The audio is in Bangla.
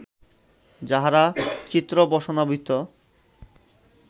যাঁহারা চিত্রবসনাবৃত